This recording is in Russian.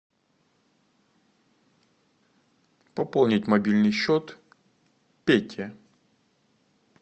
пополнить мобильный счет пете